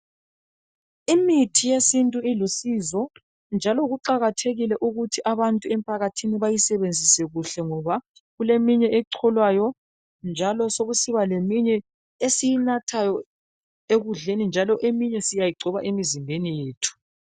Imithi yesintu ilusizo njalo kuqakathekile ukuthi abantu emphakathini bayisebenzise kuhle ngoba kuleminye echolwayo njalo sokusiba leminye esiyinathayo ekudleni njalo eminye siyayigcoba emizimbeni yethu